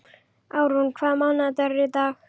Árún, hvaða mánaðardagur er í dag?